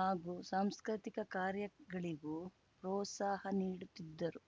ಹಾಗೂ ಸಾಂಸ್ಕೃತಿಕ ಕಾರ್ಯಗಳಿಗೂ ಪ್ರೋತ್ಸಾಹ ನೀಡುತ್ತಿದ್ದರು